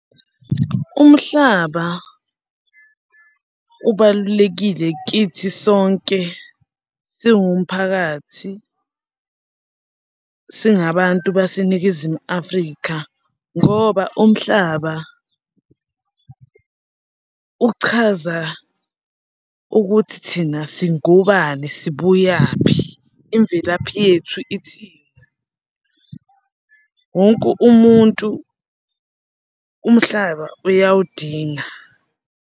Umhlaba ubalulekile kithi sonke siwumphakathi, singabantu baseNingizimu Afrika ngoba umhlaba uchaza ukuthi thina singobani sibuyaphi, imvelaphi yethu ithini. Wonke umuntu umhlaba uyawudinga.